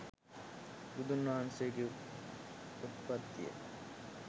බුදුන් වහන්සේගේ උත්පත්තිය